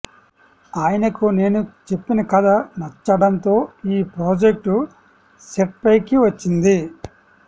ఆయనకు నేను చెప్పిన కథ నచ్చడంతో ఈ ప్రాజెక్ట్ సెట్స్పైకి వచ్చింది